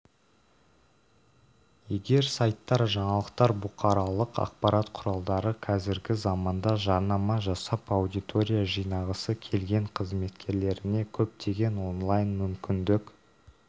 егер сайттар жаңалықтар бұқаралық ақпарат құралдары қазіргі заманда жарнама жасап аудитория жинағысы келген қызметкерлеріне көптеген онлайн мүмкіндік